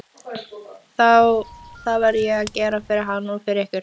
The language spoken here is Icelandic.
Það verði ég að gera fyrir hann og fyrir ykkur!